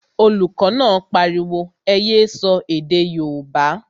Olùkọ́ náà pariwo, ẹ yé sọ èdè yóòbá!